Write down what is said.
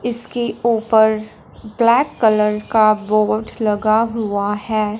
इसके ऊपर black colour का बोर्ड लगा हुआ है।